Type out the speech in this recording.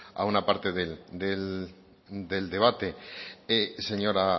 a una parte del debate señora